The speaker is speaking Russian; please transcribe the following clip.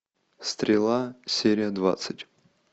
стрела серия двадцать